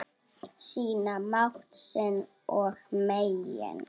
Sýna mátt sinn og megin.